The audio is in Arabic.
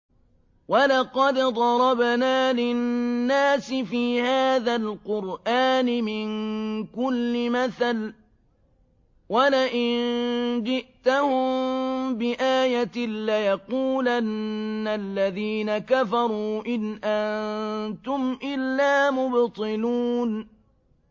وَلَقَدْ ضَرَبْنَا لِلنَّاسِ فِي هَٰذَا الْقُرْآنِ مِن كُلِّ مَثَلٍ ۚ وَلَئِن جِئْتَهُم بِآيَةٍ لَّيَقُولَنَّ الَّذِينَ كَفَرُوا إِنْ أَنتُمْ إِلَّا مُبْطِلُونَ